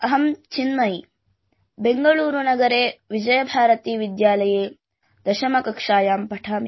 अहं चिन्मयी बेंगलुरुनगरे विजयभारतीविद्यालये दशमकक्ष्यायां पठामि